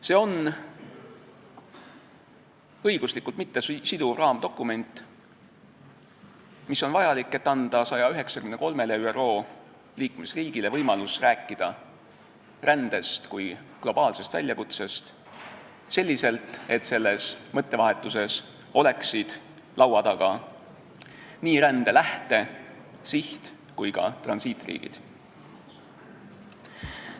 See on õiguslikult mittesiduv raamdokument, mis on vajalik, et anda 193-le ÜRO liikmesriigile võimalus rääkida rändest kui globaalsest väljakutsest selliselt, et selles mõttevahetuses oleksid laua taga nii rände lähte-, siht- kui ka transiitriigid.